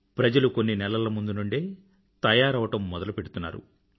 ప్రజలు కొన్ని నెలల ముందు నుండే తయారవ్వడం మొదలుపెడుతున్నారు